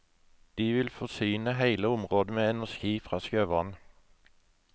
De vil forsyne hele området med energi fra sjøvann.